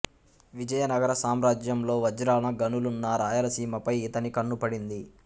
విజయనగర సామ్రాజ్యంలో వజ్రాల గనులున్న రాయలసీమపై ఈతని కన్ను పడింది